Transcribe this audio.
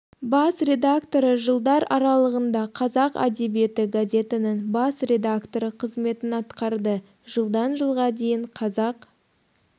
бас редакторы жылдар аралығында қазақ әдебиеті газетінің бас редакторы қызметін атқарды жылдан жылға дейін қазақ